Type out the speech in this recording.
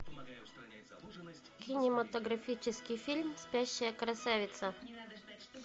кинематографический фильм спящая красавица